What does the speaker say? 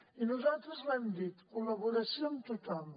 i nosaltres ho hem dit col·laboració amb tothom